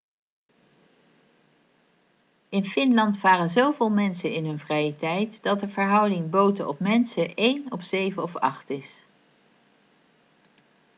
in finland varen zoveel mensen in hun vrije tijd dat de verhouding boten op mensen één op zeven of acht is